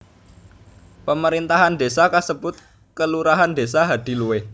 Pamerintahan désa kasebut kelurahan Desa Hadiluwih